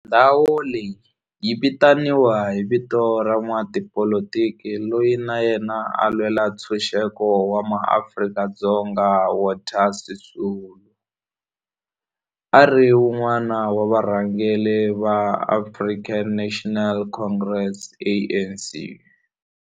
Ndhawo leyi yi vitaniwa hi vito ra n'watipolitiki loyi na yena a lwela ntshuxeko wa maAfrika-Dzonga Walter Sisulu, a ri wun'wana wa varhangeri va African National Congress, ANC.